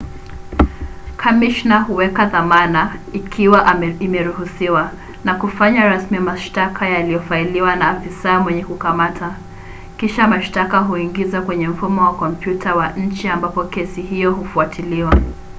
kamishna huweka dhamana ikiwa imeruhusiwa na kufanya rasmi mashtaka yaliyofailiwa na afisa mwenye kukamata. kisha mashtaka huingizwa kwenye mfumo wa kompyuta wa nchi ambapo kesi hiyo hufuatiliwa